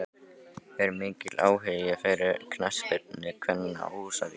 Er mikill áhugi fyrir knattspyrnu kvenna á Húsavík?